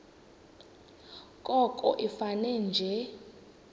koko ifane nje